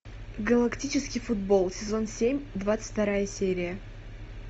галактический футбол сезон семь двадцать вторая серия